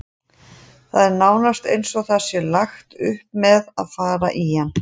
Það er nánast eins og það sé lagt upp með að fara í hann.